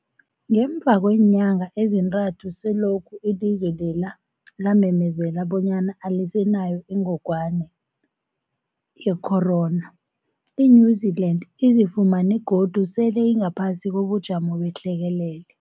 Ngemva kweenyanga ezintathu selokhu ilizwe lela lamemezela bonyana alisenayo ingogwana ye-corona, i-New-Zealand izifumana godu sele ingaphasi kobujamo behlekelele.